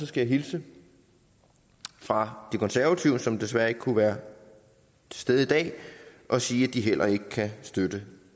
skal hilse fra det konservative folkeparti som desværre ikke kunne være til stede i dag og sige at de heller ikke kan støtte